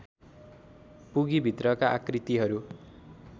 पुगी भित्रका आकृतिहरू